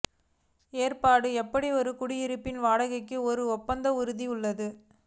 ஏற்பாடு எப்படி ஒரு குடியிருப்பில் வாடகைக்கு ஒரு ஒப்பந்த உறுதியளித்துள்ளது